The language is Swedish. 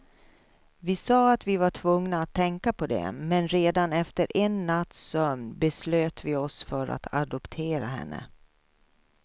Vi sa att vi var tvungna att tänka på det, men redan efter en natts sömn beslöt vi oss för att adoptera henne.